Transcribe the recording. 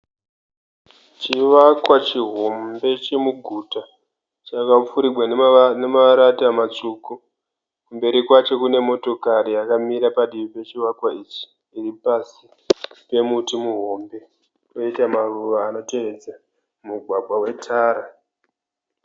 Chivakwa chihombe chemuguta chakapfurigwa nemarata matsvuku. Mberi kwacho kune motokari yakamira padivi pechivakwa ichi iri pasi pemuti muhombe poita maruva anotevedza mugwagwa wetara.